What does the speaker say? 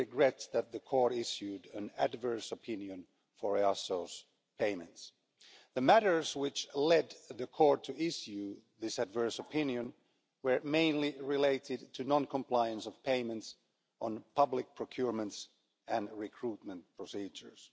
regret that the Court issued an adverse opinion for EASO's payments. The matters which led the Court to issue this adverse opinion were mainly related to non compliance of payments on public procurement and recruitment procedures.